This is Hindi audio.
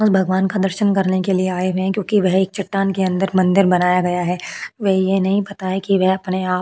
उस भगवान का दर्शन करने के लिए आये हुए है क्यूंकि वह एक चटान के अंदर मंदिर बनाया गया है वे ये नही बताए की वह अपने आप--